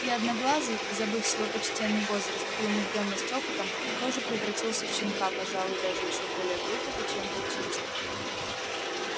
и одноглазый забыв свой почтенный возраст и умудрённость опытом тоже превратился в щенка пожалуй даже ещё более глупого чем волчица